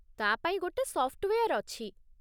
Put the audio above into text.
ତା' ପାଇଁ ଗୋଟେ ସଫ୍ଟୱେୟାର୍ ଅଛି ।